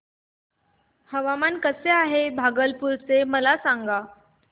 हवामान कसे आहे भागलपुर चे मला सांगा